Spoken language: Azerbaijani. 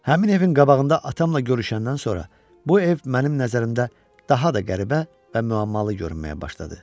Həmin evin qabağında atamla görüşəndən sonra, bu ev mənim nəzərimdə daha da qəribə və müəmmalı görünməyə başladı.